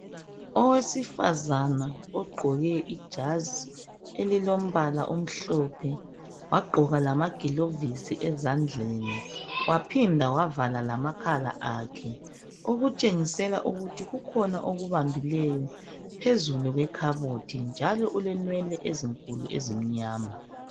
Owesifazana ogqoke ijazi elilombala omhlophe wagqoka lamagilovisi ezandleni waphinda wavala lamakhala akhe okutshengisela ukuthi kukhona okubambileyo phezulu kwekhabothi njalo ulenwele ezinkulu ezimnyama.